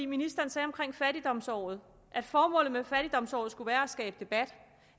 ministeren sagde om fattigdomsåret at formålet med fattigdomsåret skulle være at skabe debat